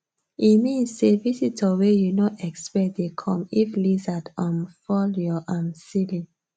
e mean say visitor wey you no expect dey come if lizard um fall your um ceiling